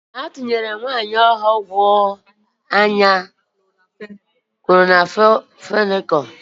A tunyere nwaanyị ahụ ọgwụ anya kloramfenịkal n'anya n'ihi na ọ nwere ọrịa nje anya.